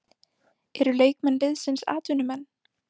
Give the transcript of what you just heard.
Eru leikmenn liðsins atvinnumenn?